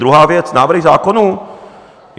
Druhá věc - návrhy zákonů.